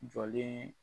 Jɔlen